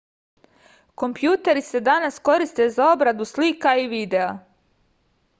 kompjuteri se danas koriste za obradu slika i videa